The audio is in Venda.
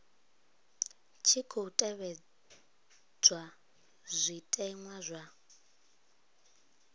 tshi khou tevhedzwa zwitenwa zwa